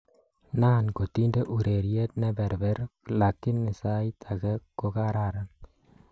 Naan kotinde ureriet ne berber lakini sait age kokararan